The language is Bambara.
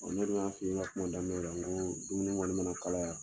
Ɔɔ ne dun ya f'i ye n ka kuma daminɛ la n go dumuni kɔni ma na kalaya